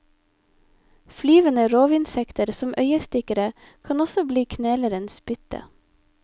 Flyvende rovinsekter som øyestikkere kan også bli knelerens bytte.